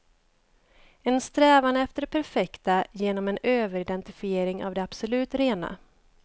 En strävan efter det perfekta genom en överidentifiering av det absolut rena.